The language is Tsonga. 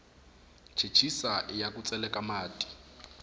chechisa iya ku tseleka mati